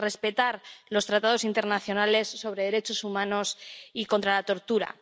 respetar los tratados internacionales sobre derechos humanos y contra la tortura.